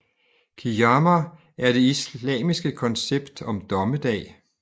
Qiyâmah er det islamske koncept om dommedag